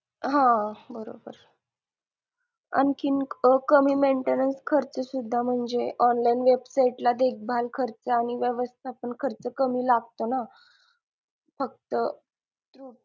हा बरोबर आणखी कमी maintainance खर्च सुद्धा म्हणजे online website ला देखभाल खर्च आणि व्यवस्थापन खर्च कमी लागतो ना फक्त